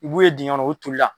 I b'u ye dingɛ kɔnɔ u toli la.